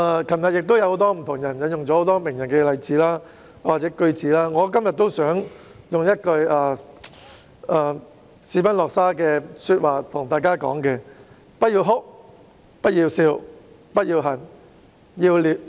昨天有很多議員引用了名人的例子或名言，我今天亦想引用斯賓諾沙的一句說話︰"不要哭、不要笑、不要恨、要理解"。